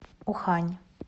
ухань